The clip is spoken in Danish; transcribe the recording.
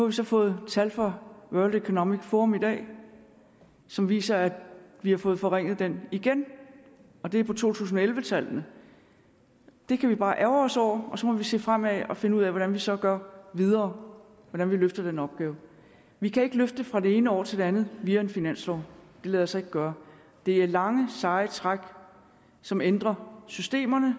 vi så fået tal fra world economic forum i dag som viser at vi har fået forringet den igen og det er to tusind og elleve tallene det kan vi bare ærgre os over og så må vi se fremad og finde ud af hvordan vi så gør videre og hvordan vi løfter den opgave vi kan ikke løfte den fra det ene år til det andet via en finanslov det lader sig ikke gøre det er lange seje træk som ændrer systemerne